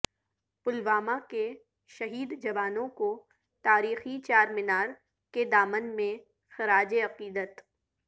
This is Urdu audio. پلوامہ کے شہید جوانوں کو تاریخی چارمینار کے دامن میں خراج عقیدت